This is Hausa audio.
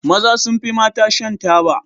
Maza sun fi mata shan taba.